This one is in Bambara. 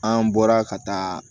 An bɔra ka taa